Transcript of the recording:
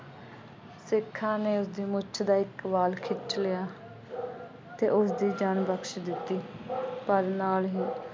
ਸਿੱਖਾਂ ਨੇ ਉਸਦੀ ਮੁੱਛ ਦਾ ਇੱਕ ਵਾਲ ਖਿੱਚ ਲਿਆ ਅਤੇ ਉਸਦੀ ਜਾਨ ਬਖਸ਼ ਦਿੱਤੀ। ਪਰ ਨਾਲ ਹੀ